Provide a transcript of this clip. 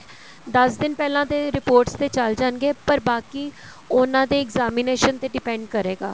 ਦਸ ਦਿਨ ਪਹਿਲਾਂ ਦੇ reports ਤੇ ਚੱਲ ਜਾਣਗੇ ਪਰ ਬਾਕੀ ਉਹਨਾ ਦੇ examination ਤੇ depend ਕਰੇਗਾ